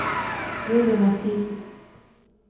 Julie Mathiesen